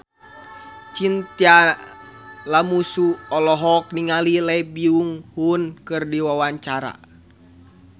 Chintya Lamusu olohok ningali Lee Byung Hun keur diwawancara